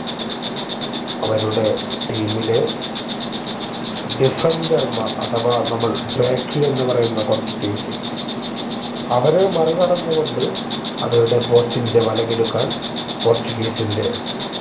അവരുടെ team ലെ deffender മാർ അഥവാ നമ്മൾ backy എന്ന് പറയുന്ന കൊറച്ച് teams അവരെ മറികടന്നു കൊണ്ട് അവരുടെ post ന്റെ വലകിലുക്കാൻ പോർച്ചുഗീസിന്റെ